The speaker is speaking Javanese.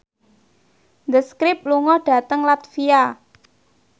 The Script lunga dhateng latvia